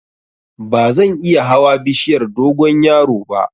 Bazan iya hawa bishiyar dogonyaro ba